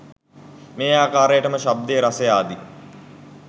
මේ ආකාරයටම ශබ්දය රසය ආදි